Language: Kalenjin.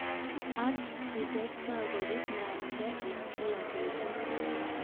Ak kietestai kobit ngwnindo eng kila betut.